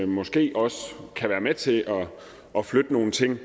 måske også kan være med til at flytte nogle ting